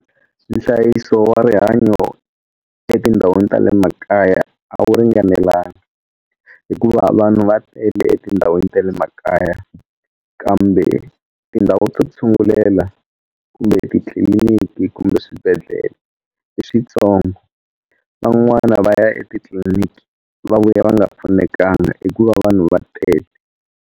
Nhlayiso wa rihanyo etindhawini ta le makaya a wu ringanelanga hikuva vanhu va tele etindhawini ta le makaya kambe tindhawu ta ku tshungulela kumbe etitliliniki kumbe swibedhlele i swi tsongo van'wana va ya etitliniki va vuya va nga pfunekanga hikuva vanhu va tele.